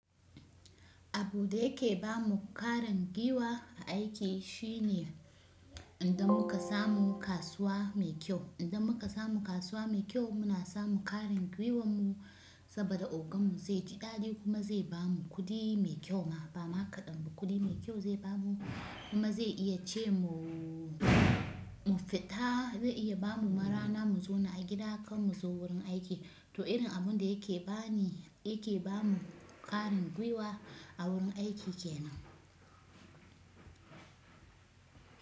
Abun da yake ba mu ƙwarin gwiwa a aiki shine idan muka samu kasuwa mai kyau. Idan muka samu kasuwa mai kyau muna samu ƙwarin gwiwan mu saboda ogan mu zai ji ɗadi kuma zai bamu kuɗi mai kyau ma bama kaɗan. Kuɗi mai kyau zai bamu kuma zai iya ce mu fita zai iya bamu rana mu zauna a gida kan muzo wurin aiki. To irin abun da yake bani, yake bamu ƙwarin gwiwa a wurin aiki kenan.